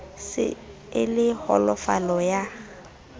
se e le holofala ya